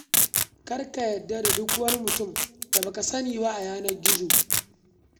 Kar ka yarda da duk wani mutum da ba ka sani ba a yanar gizo.